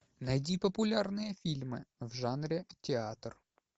найди популярные фильмы в жанре театр